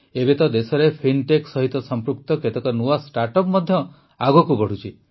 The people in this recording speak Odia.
ଏବେ ତ ଦେଶରେ ଫିନ୍ଟେକ୍ ସହିତ ସଂପୃକ୍ତ କେତେକ ନୂଆ ଷ୍ଟାର୍ଟଅପ୍ ମଧ୍ୟ ଆଗକୁ ବଢ଼ୁଛି